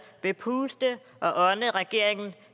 vil puste og ånde regeringen